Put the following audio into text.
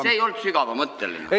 See ei olnud sügavamõtteline.